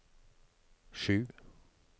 sju